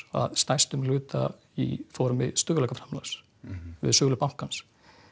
stærstum hluta í formi stöðugleikaframlags við sölu bankans